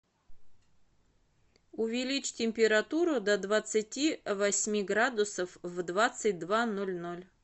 увеличь температуру до двадцати восьми градусов в двадцать два ноль ноль